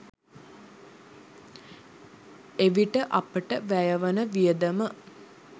එවිට අපට වැයවන වියදම